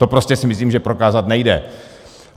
To prostě si myslím, že prokázat nejde.